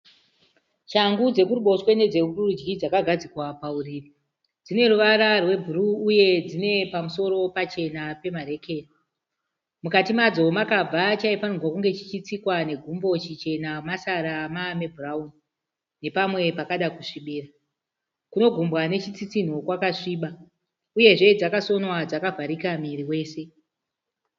Shangu dzekuruboshwe nedzekurudyi dzakagadzikwa pauriri. Dzine ruvara rwebhuruu uye dzine pamusoro pachena pemarekeni. Mukati madzo makabva chaifanirwa kunge chichitsikwa negumbo chichena, masara mave mebhurauni nepamwe pakada kusvibira. Kunogumwa nechitsinho kwakasviba. Uyezve dzakasonwa dzakavharika muviri wose.